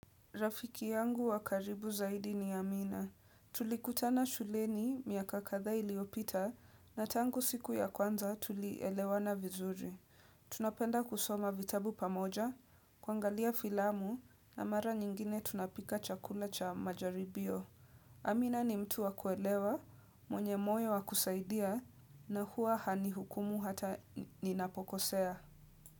Rafiki yangu wa karibu zaidi ni Amina. Tulikutana shuleni miaka kadha iliyopita na tangu siku ya kwanza tulielewana vizuri. Tunapenda kusoma vitabu pamoja, kuangalia filamu na mara nyingine tunapika chakula cha majaribio. Amina ni mtu wa kuelewa, mwenye moyo wa kusaidia na huwa hanihukumu hata ninapokosea.